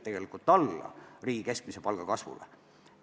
See jääb riigi keskmise palga kasvule kõvasti alla.